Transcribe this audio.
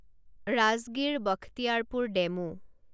Rajgir Bakhtiyarpur DEMU